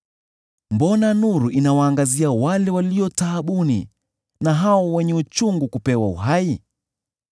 “Mbona nuru inawaangazia wale walio taabuni, na hao wenye uchungu kupewa uhai,